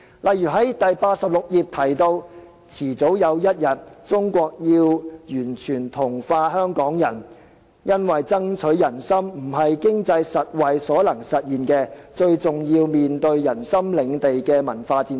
例如，這本書第86頁提到"早晚有一天，中國要完全同化香港人，因為爭取人心不是經濟實惠所能實現的，最重要面對人心領地的文化戰爭"。